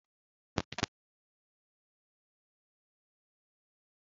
Suprim Nụ́dúls na-atọ ụtọ karịa Cherị Nụ́dúls